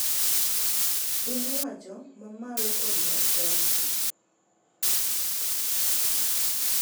Pin owacho ma malo kod mag kaonti